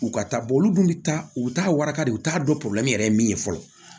U ka taa olu dun bi taa u bi taa warakali u t'a dɔn yɛrɛ ye min ye fɔlɔ